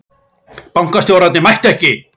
Bankastjórarnir mættu ekki